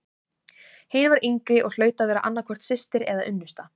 Hin var yngri og hlaut að vera annað hvort systir eða unnusta.